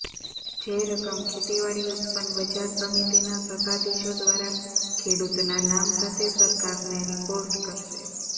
જે રકમ ખેતીવાડી ઉત્પન્ન બજાર સમિતિના સત્તાધીશો દ્વારા ખેડૂતના નામ સાથે સરકારને રિપોર્ટ કરશે